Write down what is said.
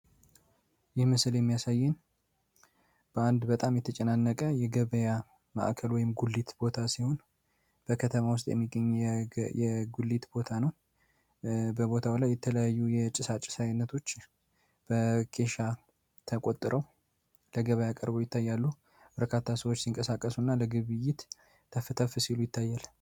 ይህ ምስል የሚያሳይን በአንድ በጣም የተጨናነቀ የገበያ ማዕከል ወይም ጉሊት ቦታ ሲሆን በከተማ ውስጥ የሚገኝ የጉሊት ቦታ ነው በቦታው ላይ የተለያዩ የጭሳጭ ሳይነቶች በኬሻ ተቆጥረው ለገበያ ቀርቦ ይታያሉ በረካታ ሰዎች ሲንቀሳቀሱ እና ለግብይት ተፍተፍ ሲሉ ይታያል።